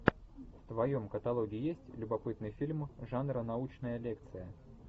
в твоем каталоге есть любопытный фильм жанра научная лекция